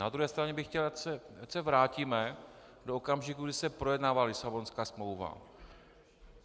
Na druhé straně bych chtěl, ať se vrátíme do okamžiku, kdy se projednávala Lisabonská smlouva.